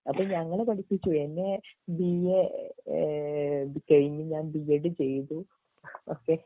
അപ്പൊ ഞങ്ങളെ പഠിപ്പിച്ചു എന്നെ ബിഎ ഈഹ് കഴിഞ്ഞ് ഞാൻ ബിഎഡ് ചെയ്‌തു ഒകെ